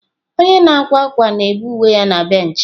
Onye na-akwa akwa na-bee uwe ya na bench.